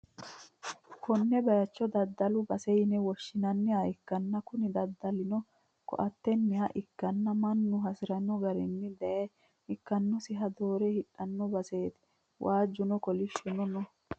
konne bayicho daddalu base yine woshhsi'nanniha ikkanna, kuni daddalino ko'attenniha ikkanna, mannu hasi'rino garinni daye ikkannosiha doore hidhanno baseeti, waajjuno kolishhsuno no.